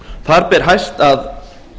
þar ber hæst að